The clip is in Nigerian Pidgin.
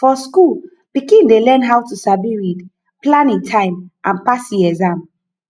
for school pikin dey learn how to sabi read plan e time and pass e exam